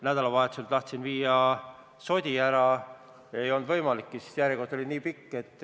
Nädalavahetusel tahtsin viia sodi ära, aga ei olnud võimalik, sest järjekord oli nii pikk.